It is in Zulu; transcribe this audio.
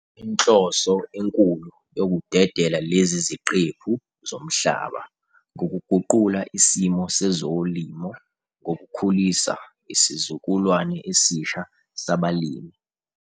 Inhloso enkulu yokudedela lezi ziqephu zomhlaba ngukuguqula isimo sezolimo ngokukhulisa isizukulwane esisha sabalimi.